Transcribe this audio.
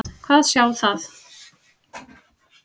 Hvað þá sjá það.